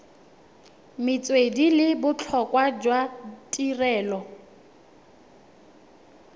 metswedi le botlhokwa jwa tirelo